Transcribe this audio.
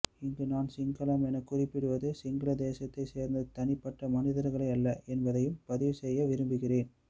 இங்கு நான் சிங்களம் எனக் குறிப்படுவது சிங்கள தேசத்தைச் சேர்ந்த தனிப்பட்ட மனிதர்களையல்ல என்பதனையும் பதிவு செய்ய விரும்புகிறேன்